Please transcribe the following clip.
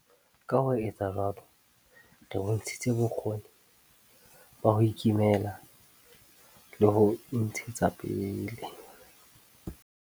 Ka ho etsa jwalo, re bontshitse bokgoni ba ho ikemela le ho intshetsa pele.